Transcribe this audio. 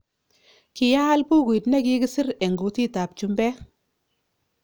Ki aal bukuit ne ki kisir eng kutit ab chumbek